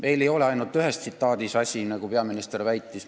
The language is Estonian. Asi ei ole ainult ühes tsitaadis, nagu peaminister väitis.